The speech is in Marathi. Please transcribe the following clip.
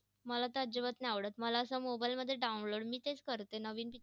मला तर अजिबात नाही आवडतं. मला असं mobile मध्ये download मी तेच करते नवीन.